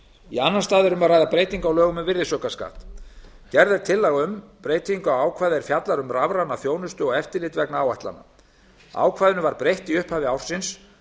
í annan stað er um að ræða breytingu á lögum um virðisaukaskatt gerð er tillaga um breytingu á ákvæði er fjallar um rafræna þjónustu og eftirlit vegna áætlana ákvæðinu var breytt í upphafi ársins